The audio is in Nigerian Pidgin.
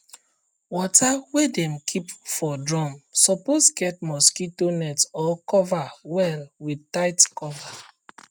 water wey dem keep for drum suppose get mosquito net or cover well with tight cover